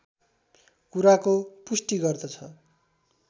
कुराको पुष्टि गर्दछ